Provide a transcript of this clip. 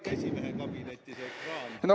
Kas see ekraan tuleb ikka esimehe kabinetti?